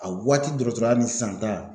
A waati dɔgɔtɔrɔya ni sisan ta